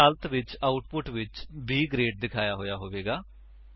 ਇਸ ਹਾਲਤ ਵਿੱਚ ਆਉਟਪੁਟ ਵਿੱਚ B ਗਰੇਡ ਦਿਖਾਇਆ ਹੋਇਆ ਹੋਵੇਗਾ